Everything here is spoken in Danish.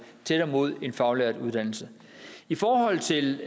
tættere mod en faglært uddannelse i forhold til